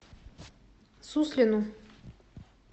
суслину